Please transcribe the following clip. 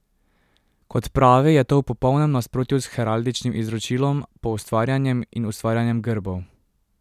Kot pravi, je to v popolnem nasprotju s heraldičnim izročilom, poustvarjanjem in ustvarjanjem grbov.